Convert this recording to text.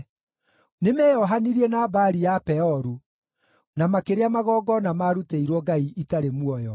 Nĩmeyohanirie na Baali ya Peoru, na makĩrĩa magongona maarutĩirwo ngai itarĩ muoyo;